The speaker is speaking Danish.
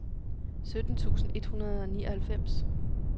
sytten tusind et hundrede og nioghalvfems